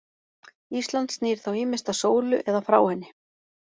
Ísland snýr þá ýmist að sólu eða frá henni.